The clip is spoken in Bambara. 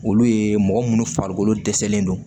Olu ye mɔgɔ minnu farikolo dɛsɛlen don